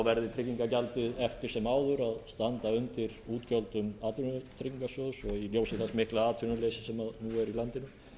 verði tryggingagjaldið eftir sem áður að standa undir útgjöldum atvinnuleysistryggingasjóðs og í ljósi þess mikla atvinnuleysis sem nú er í landinu